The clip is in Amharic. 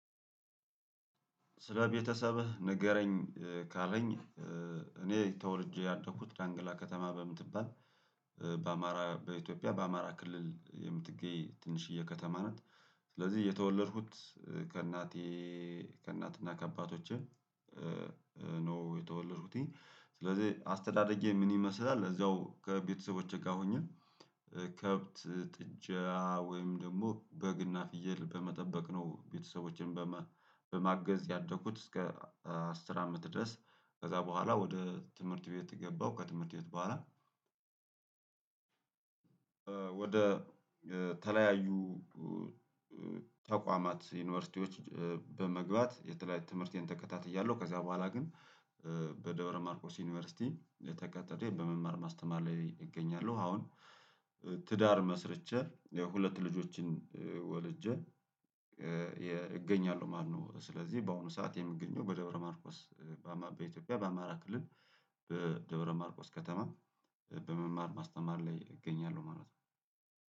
ስለ ቤተሰብህ ንገረኝ ካለኝ እኔ ተወልጄ ያደኩት ዳንግላ ከተማ በምትባል በአማራ በኢትዮጵያ በአማራ ክልል የምትገኝ ትንሽዬ ከተማ ናት። ስለዚህ የተወለድኩት ከእናቴ ከእናትና ከአባቶቼ ነው የተወለዱት ስለዚህ አስተዳደጌ ምን ይመስላል እዛው ከቤተሰቦቼ ጋር ሆኜ ከብት ጥጃ ወይም ደግሞ በግ እና ፍየል በመጠበቅ ነው። ቤተሰቦችን በማገዝ ያደኩት እስከ አስር አምስት ድረስ ከዛ በኋላ ወደ ትምህርት ቤት ገባሁ ከትምህርት ቤት በኋላ ወደ ተለያዩ ተቋማት ዩኒቨርሲቲዎች በመግባት የተለያየ ትምህርቴን ተከታትያለሁ። ከዛ በኋላ ግን በደብረ ማርቆስ ዩኒቨርሲቲ ተቀጥሬ በመማር ማስተማር ላይ እገኛለሁ። አሁን ትዳር መስርቸት የሁለት ልጆችን ወልጄ እገኛለሁ። ማነው? ስለዚህ በአሁኑ ሰዓት የምገኘው በደብረማርቆስ በኢትዮጵያ በአማራ ክልል በደብረማርቆስ ከተማ በመማር ማስተማር ላይ እገኛለሁ። ማለት ነው።